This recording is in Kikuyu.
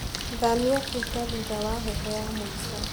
Thamia tuta thutha wa heho ya mũico.